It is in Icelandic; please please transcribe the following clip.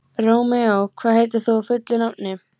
Rómeó, hvað heitir þú fullu nafni?